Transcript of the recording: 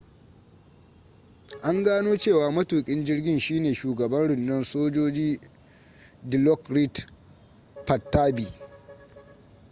an gano cewa matukin jirgin shine shugaban rundunar sojoji dilokrit pattavee